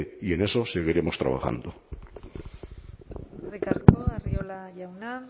y en eso seguiremos trabajando eskerrik asko arriola jauna